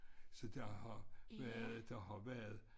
Så der har været der har været